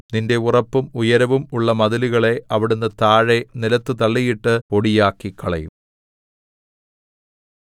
നിന്റെ ഉറപ്പും ഉയരവും ഉള്ള മതിലുകളെ അവിടുന്ന് താഴെ നിലത്തു തള്ളിയിട്ടു പൊടിയാക്കിക്കളയും